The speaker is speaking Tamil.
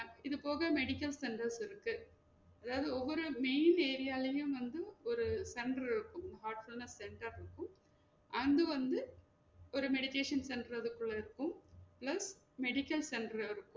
அஹ் இது போக medical centers இருக்கு அதாவது ஒவ்வொரு main area ளையும் வந்து ஒரு center இருக்கும் heartfullness center இருக்கும் and வந்து ஒரு meditation center அது குள்ள இருக்கும் next medical center இருக்கும்